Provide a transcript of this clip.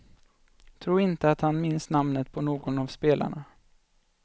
Tro inte att han minns namnet på någon av spelarna.